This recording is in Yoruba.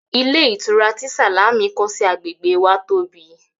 Ilé ìtura tí Sàlámì kọ́ sí agbègbè wa tóbi